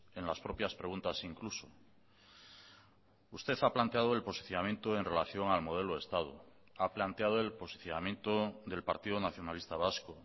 en las propias preguntas incluso usted ha planteado el posicionamiento en relación al modelo de estado ha planteado el posicionamiento del partido nacionalista vasco